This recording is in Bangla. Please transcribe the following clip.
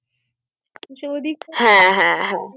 কিছু যদি হ্যা হ্যা হ্যা